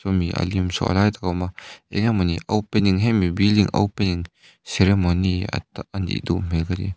sawmi a lim saw a lai takah a awma eng emawni opening hemi building opening ceremony anih duh hmel ka ti.